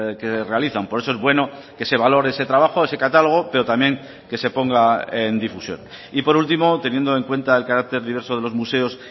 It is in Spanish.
que realizan por eso es bueno que se valore ese trabajo ese catálogo pero también que se ponga en difusión y por último teniendo en cuenta el carácter diverso de los museos